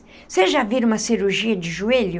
Vocês já viram uma cirurgia de joelho?